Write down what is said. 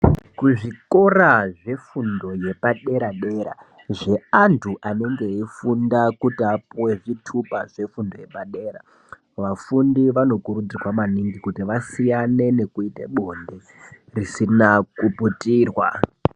Kuzvikora zvefundo yepadera dera zveantu anenge eifunda kuti apuwe zvitupa zvefundo yepadera dera vafundi vanokurudzirwa maningi kuti vasiyane nekuite bonde risina kuputirwa.